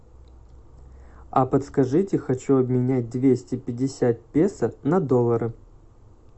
а подскажите хочу обменять двести пятьдесят песо на доллары